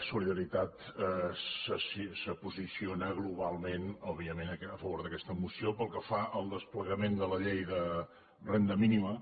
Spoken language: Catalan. solidaritat es posiciona globalment òbviament a favor d’aquesta moció pel que fa al desplegament de la llei de renda mínima